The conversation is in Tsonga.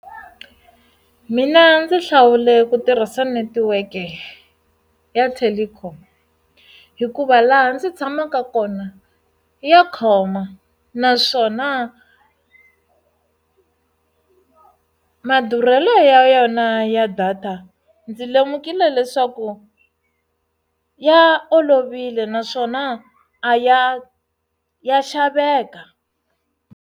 Mina ndzi hlawule ku tirhisa netiweke ya telkom hikuva laha ndzi tshamaka kona ya khoma naswona madurhelo ya yona ya data ndzi lemukile leswaku ya olovile naswona a ya ya xaveka.